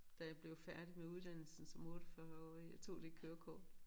Da jeg blev færdig med uddannelsen som 48-årig jeg tog det kørekort